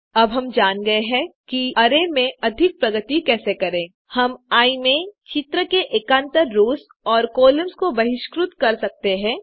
अब हम जान गये हैं कि अरै में अधिक प्रगति कैसे करें हम आई में चित्र के एकान्तर रोस और कॉलम्स को बहिष्कृत कर सकते हैं